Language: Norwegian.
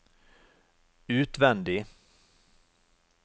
utvendig